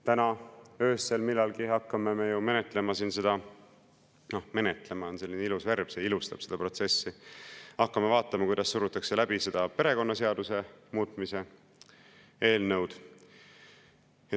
Täna öösel millalgi hakkame me ju menetlema siin – noh, "menetlema" on selline ilus värving, see ilustab seda protsessi –, hakkame vaatama, kuidas surutakse läbi seda perekonnaseaduse muutmise eelnõu.